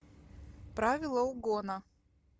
правила угона